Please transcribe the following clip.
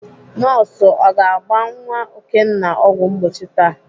Nọọsụ ọ ga-agba nwa Okenna ọgwụ mgbochi taa?